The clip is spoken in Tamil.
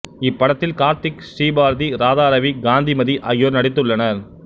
இப்படத்தில் கார்த்திக் ஸ்ரீ பாரதி ராதாரவி காந்திமதி ஆகியோர் நடித்துள்ளனர்